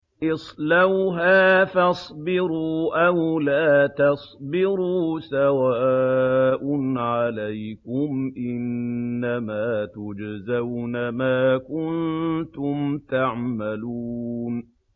اصْلَوْهَا فَاصْبِرُوا أَوْ لَا تَصْبِرُوا سَوَاءٌ عَلَيْكُمْ ۖ إِنَّمَا تُجْزَوْنَ مَا كُنتُمْ تَعْمَلُونَ